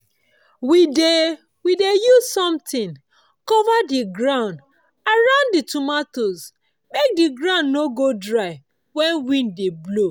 we dey we dey use something cover the ground around the tomato make the ground no go dry when wind dey blow